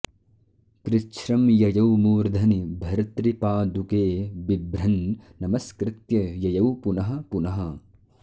कृच्छ्रं ययौ मूर्धनि भर्तृपादुके बिभ्रन् नमस्कृत्य ययौ पुनः पुनः